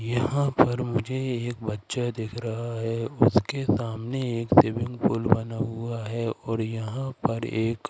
यहाँ पर मुझे एक बच्चा दिख रहा है उसके सामने एक स्विमिंग पूल बना हुआ है और यहाँ पर एक --